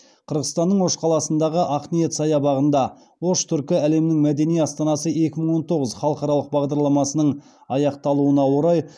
қырғызстанның ош қаласындағы ақниет саябағында ош түркі әлемінің мәдени астанасы екі мың он тоғыз халықаралық бағдарламасының аяқталуына орай